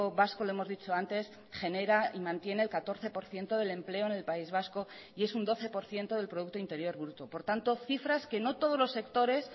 vasco lo hemos dicho antes genera y mantiene el catorce por ciento del empleo en el país vasco y es un doce por ciento del producto interior bruto por tanto cifras que no todos los sectores